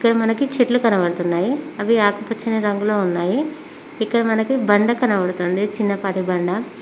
ఇక్కడ మనకి చెట్లు కనపడుతున్నాయి అవి ఆకుపచ్చని రంగులో ఉన్నాయి ఇక్కడ మనకి బండ కనబడుతుంది చిన్నపాటి బండ.